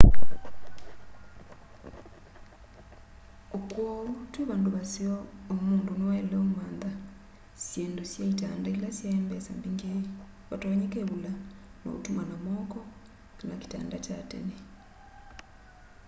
o kwou twi vandu vaseo uu mundu niwaile umantha syindu sya itanda ila sya mbesa mbingi vatonyeka ivula ya utuma na moko kana kitanda kya tene